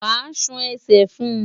Wàá ṣan ẹsẹ̀ fún un!